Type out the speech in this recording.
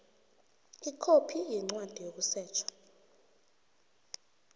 ikhophi yencwadi yokusetjha